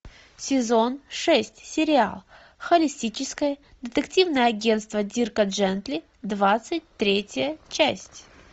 сезон шесть сериал холистическое детективное агентство дирка джентли двадцать третья часть